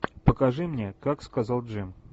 покажи мне как сказал джим